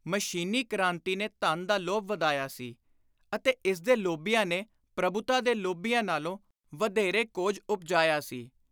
ਮਸ਼ੀਨੀ ਕ੍ਰਾਂਤੀ ਨੇ ਧਨ ਦਾ ਲੋਭ ਵਧਾਇਆ ਸੀ ਅਤੇ ਇਸਦੇ ਲੋਭੀਆਂ ਨੇ ਪ੍ਰਭੁਤਾ ਦੇ ਲੋਭੀਆਂ ਨਾਲੋਂ ਵਧੇਰੇ ਕੋਝ ਉਪਜਾਇਆ ਸੀ।